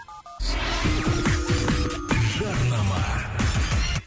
жарнама